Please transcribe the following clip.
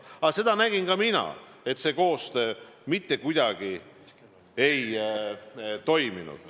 Seda nägin ka mina, et see koostöö mitte kuidagi ei toiminud.